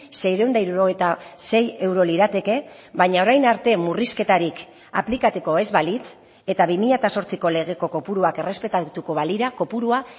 seiehun eta hirurogeita sei euro lirateke baina orain arte murrizketarik aplikatuko ez balitz eta bi mila zortziko legeko kopuruak errespetatuko balira kopurua